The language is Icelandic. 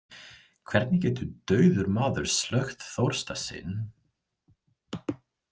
Hvernig getur dauður maður slökkt þorsta sinn?